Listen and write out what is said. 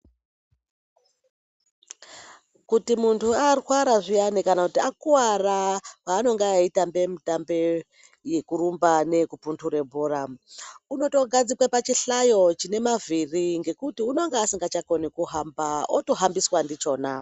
Kuti muntu arwara zviyani kana kuti akuwara paanonga eitambe mitambe yekurumba neyekupunhura bhora. Unotogadzikwe pachihlayo chine mavhiri ngekuti unonga asingachakoni kuhamba otohambiswa ndichona.